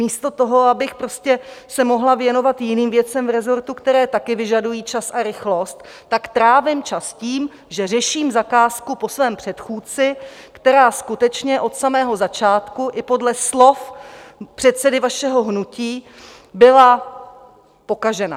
Místo toho, abych se mohla věnovat jiným věcem v resortu, které také vyžadují čas a rychlost, tak trávím čas tím, že řeším zakázku po svém předchůdci, která skutečně od samého začátku i podle slov předsedy vašeho hnutí byla pokažená.